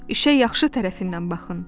İşə yaxşı tərəfindən baxın.